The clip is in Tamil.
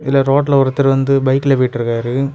இந்த ரோட்ல ஒருத்தர் வந்து பைக்ல போய்ட்டு இருக்காரு.